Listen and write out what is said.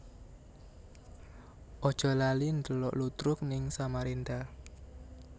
Aja lali ndelok ludruk ning Samarinda